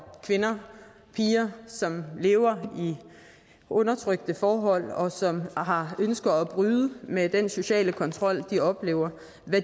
kvinder piger som lever i undertrykkende forhold og som har ønsket om at bryde med den sociale kontrol de oplever